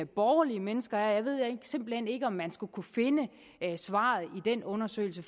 borgerlige mennesker er og jeg ved simpelt hen ikke om man skulle kunne finde svaret i den undersøgelse